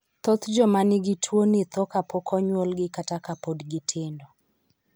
Thoth joma nigi tuwoni tho kapok onyuolgi kata ka pod gitindo.